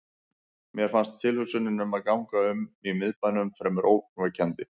Mér fannst tilhugsunin um að ganga um í miðbænum fremur ógnvekjandi.